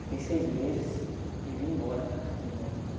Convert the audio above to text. Fiquei seis meses e vim embora para cá de novo.